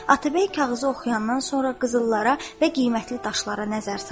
Atabəy kağızı oxuyandan sonra qızıllara və qiymətli daşlara nəzər saldı.